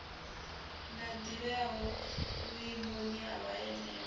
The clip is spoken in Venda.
na ḓivhea vhuimoni ha vhaanewa